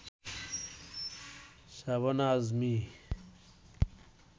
Shabana Azmi